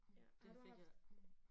Ja. Har du haft